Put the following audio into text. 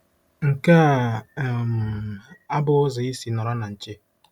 Nke a um abụghị ụzọ isi nọrọ na nche.